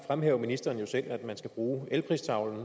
fremhæver ministeren jo selv at man skal bruge elpristavlen